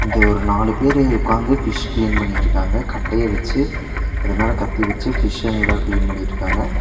இங்க ஒரு நாலு பேரு உக்காந்து ஃபிஷ் கிளீன் பண்ணிட்ருக்காங்க கட்டைய வெச்சு அது மேல கத்தி வெச்சு ஃபிஷ்ங்கள கிளீன் பண்ணிட்ருக்காங்க.